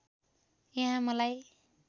यहाँ मलाई